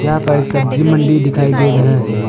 यहां पर एक सब्जी मंडी दिखाई दे रहा है।